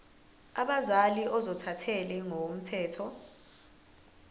abazali ozothathele ngokomthetho